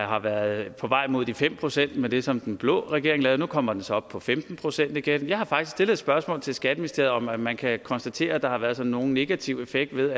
har været på vej mod de fem procent med det som den blå regering lavede og nu kommer den så op på femten procent igen jeg har faktisk stillet et spørgsmål til skatteministeriet om om man kan konstatere at der har været sådan en negativ effekt ved